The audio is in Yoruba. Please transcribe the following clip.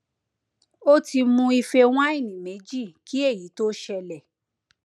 ó ti mu ife wáìnì méjì kí èyí tó ṣẹlẹ